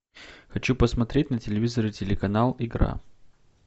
хочу посмотреть на телевизоре телеканал игра